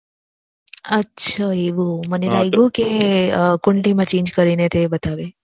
અચ્છા એવું મને લાગ્યું કે કુંડલી માં change કરી ને તે બતાવ્યું